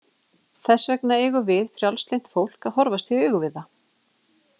Þess vegna eigum við frjálslynt fólk að horfast í augu við það.